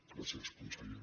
gràcies conseller